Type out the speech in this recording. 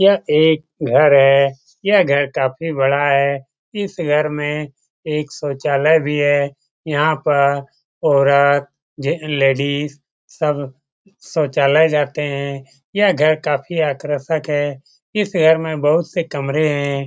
यह एक घर है। यह घर काफी बड़ा है। इस घर में एक शौचालय भी है। यहाँ पर औरत जे लेडीज सब शौचालय जाते हैं। यह घर काफी आकर्षक है। इस घर में बहुत से कमरे हैं।